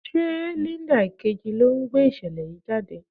Ṣé Linda Ìkejì ló ń gbé ìṣẹ̀lẹ̀ yìí jáde?